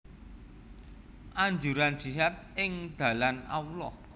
Anjuran jihad ing dalan Allah